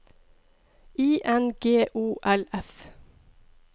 I N G O L F